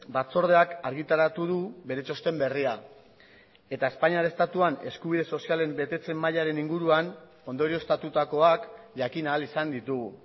batzordeak argitaratu du bere txosten berria eta espainiar estatuan eskubide sozialen betetze mailaren inguruan ondorioztatutakoak jakin ahal izan ditugu